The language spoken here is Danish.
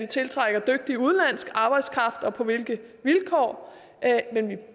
tiltrækker dygtig udenlandsk arbejdskraft og på hvilke vilkår men vi